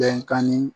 Bɛnkan ni